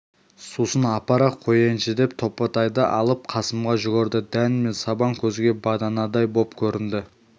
сусын апара қояйыншы деп топатайды алып қасымға жүгірді дән мен сабан көзге баданадай боп көрінді